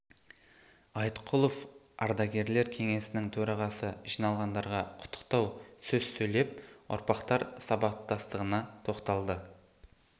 айтқұлов ардагерлер кеңесінің төрағасы жиналғандарға құттықтау сөз сөйлеп ұрпақтар сабақтастығына тоқталды